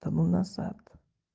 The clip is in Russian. тому назад